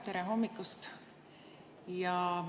Tere hommikust!